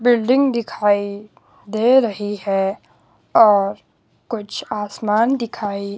building दिखाई दे रही है और कुछ आसमान दिखाई--